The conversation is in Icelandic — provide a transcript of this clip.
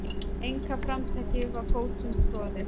Einkaframtakið var fótum troðið.